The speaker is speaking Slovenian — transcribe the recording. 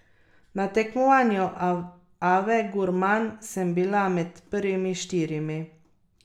Na tekmovanju Ave gurman sem bila med prvimi štirimi.